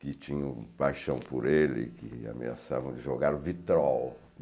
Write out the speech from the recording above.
que tinham paixão por ele e que ameaçavam de jogar vitrol.